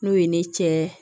N'o ye ne cɛ